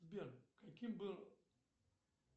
сбер каким был